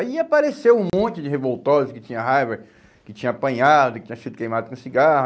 Aí apareceu um monte de revoltosos que tinha raiva, que tinham apanhado, que tinham sido queimados com cigarro.